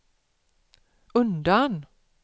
undan